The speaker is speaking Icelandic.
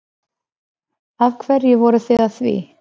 Af hverju voruð þið að því?